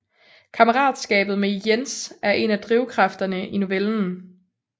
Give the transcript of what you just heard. Kammeratskabet med Jens er en af drivkræfterne i novellen